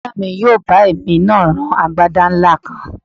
Bọ̀dá mi yóò bá èmi náà rán agbádá ńlá kan